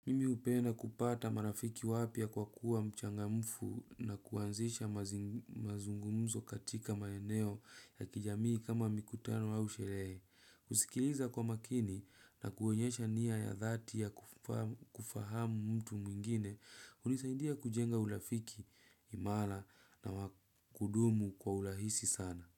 Mimi hupenda kupata marafiki wapya kwa kuwa mchangamfu na kuanzisha mazungumzo katika maeneo ya kijamii kama mikutano au sherehe. Kusikiliza kwa makini na kuonyesha nia ya dhati ya kufahamu mtu mwingine, hunisaindia kujenga urafiki, imara na kudumu kwa urahisi sana.